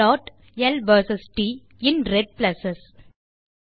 plot ல் versus ட் in red plus